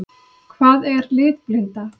Hvað er litblinda?